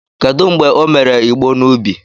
Kedu mgbe o mere igbo n'ubi?